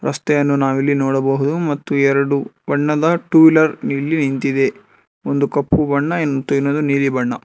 ರಸ್ತೆಯನ್ನು ನಾವಿಲ್ಲಿ ನೋಡಬಹುದು ಮತ್ತು ಎರಡು ಬಣ್ಣದ ಟು ವೀಲರ್ ಇಲ್ಲಿ ನಿಂತಿದೆ ಒಂದು ಕಪ್ಪು ಬಣ್ಣ ಇನ್ ಇನ್ನೊಂದು ನೀಲಿ ಬಣ್ಣ.